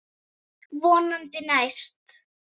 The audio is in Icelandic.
Hvaðan er það tekið?